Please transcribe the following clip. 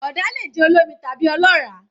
Ọ̀dà lè jẹ́ olómi tàbí ọlọ́ràá